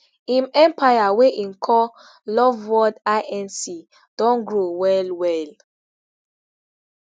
im empire wey e call loveworld inc don grow well well